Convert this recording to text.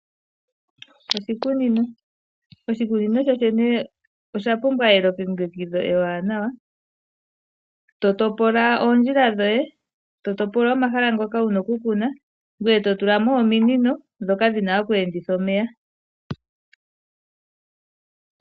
Oshikunino, oshikunino sho shene osha pumbwa elongekidho ewanawa, eto topola oondjila dhoye, eto topola omahala goye ngoye to tula mo ominino ndhoka dhina okweenditha omeya.